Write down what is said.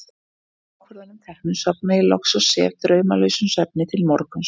Að þessum ákvörðunum teknum sofna ég loks og sef draumlausum svefni til morguns.